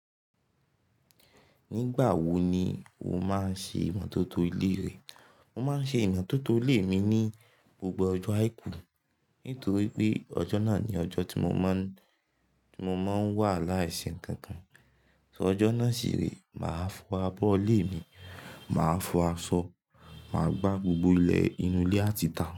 Nígbà wo ni o máa ń ṣe ìmọ́tótó ilé rẹ? Mo máa ń ṣe ìmọ́tótó ilé mi ní gbogbo ọjọ́ àìkú, nítorí pé ọjọ́ náà ni ọjọ́ tí mo máa ń, tí mo máa ń wà láìsí ǹkan kan. So ọjọ́ náà ṣì rẹ, màá fọ abọ́ ilé mi, màá fọ aṣọ, màá gbá gbogbo ilẹ̀ inú ilé àti tà.